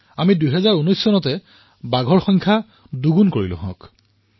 আমি ২০১৯ চনতেই বাঘৰ সংখ্যা দুগুণ কৰিবলৈ সমৰ্থ হলো